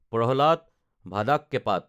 Prahlad ভাদাককেপাত